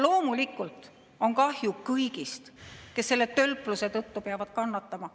Loomulikult on kahju kõigist, kes selle tölpluse tõttu peavad kannatama.